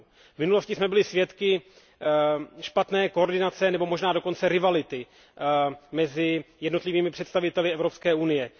V minulosti jsme byli svědky špatné koordinace nebo možná dokonce rivality mezi jednotlivými představiteli Evropské unie.